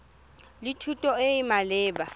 le thuto e e maleba